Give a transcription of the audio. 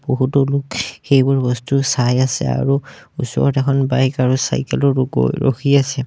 বহুতো লোক সেইবোৰ বস্তু চাই আছে আৰু ওচৰত এখন বাইক আৰু চাইকেল ও ৰ গৈ ৰখি আছে।